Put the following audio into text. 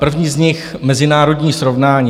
První z nich, mezinárodní srovnání.